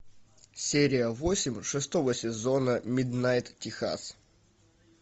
серия восемь шестого сезона миднайт техас